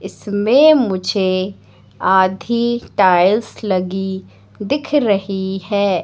इसमें मुझे आधी टाइल्स लगी दिख रही है।